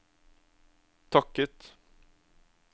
takket